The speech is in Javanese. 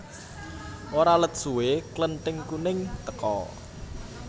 Ora let suwé Klething kuning teka